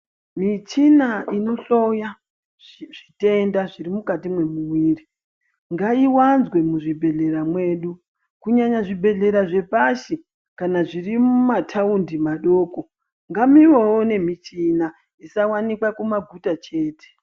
Michina inohloya zvitenda zviri mukati mwemuwiri ngaiwanzwe muzvibhedhlera medu kunyanya zvibhedhlera zvepashi kana zviri mumataundi madokongamuvewo nemichina isawanikwa kumaguta chete.